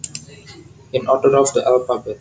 In order of the alphabet